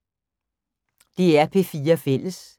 DR P4 Fælles